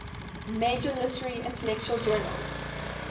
major literary intellectual journals